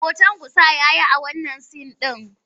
Hoton kusa ya yi a wannan sin ɗin.